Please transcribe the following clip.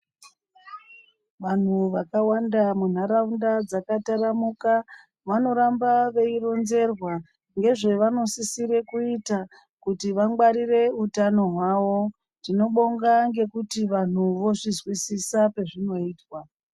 Antu yakawanda muntaraunda dzakataramuka vanoramba veyirinzerwa ngezvava nosisire kuita kuti vangwarire utano hwavo tinobonga nekuti vantu vozvizwisisa pazvino izwa.